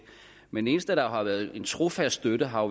men den eneste der har været en trofast støtte har